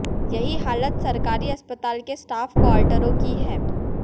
यही हालत सरकारी अस्पताल के स्टाफ क्वार्टरों की है